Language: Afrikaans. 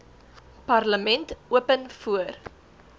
parlement open voor